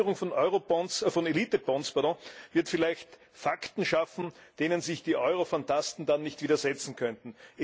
Die Einführung von Elitebonds wird vielleicht Fakten schaffen, denen sich die Europhantasten dann nicht widersetzen könnten.